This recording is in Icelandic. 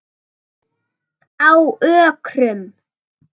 Á Ökrum